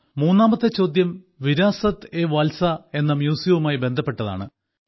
മൂന്നാമത്തെ ചോദ്യം വിരാസത് ഏ വാൽസ എന്ന മ്യൂസിയവുമായി ബന്ധപ്പെട്ടതാണ്